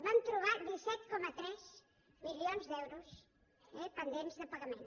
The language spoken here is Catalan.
vam trobar disset coma tres milions d’euros pendents de pagament